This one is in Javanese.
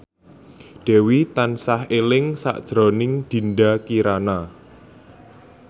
Dewi tansah eling sakjroning Dinda Kirana